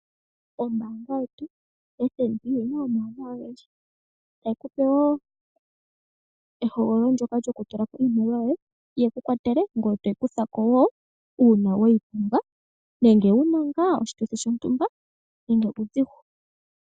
Ombaanga yetu yoFNB oyi na omauwanawa ogendji. Tayi ku pe wo ehogololo ndyoka lyokutula ko iimaliwa yoye ye ku kwatele ngoye to yi kutha ko wo uuna we yi pumbwa nenge wu na oshituthi shontumba nenge uudhigu.